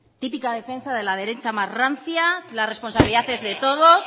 típica defensa de la derecha más rancia que la responsabilidad es de todos